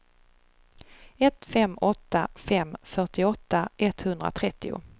ett fem åtta fem fyrtioåtta etthundratrettio